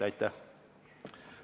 Aitäh!